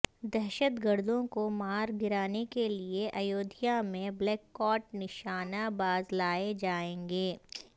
دہشت گردوں کو مارگرانے کے لئے ایودھیا میں بلیک کاٹ نشانہ باز لائے جائیں گے